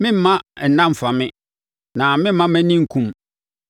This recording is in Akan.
meremma nna mfa me na meremma mʼani nkum,